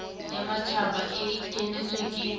ya matjhaba e kenetsweng ke